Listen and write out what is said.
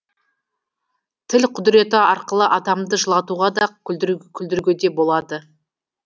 тіл құдіреті арқылы адамды жылатуға да күлдіруге де болады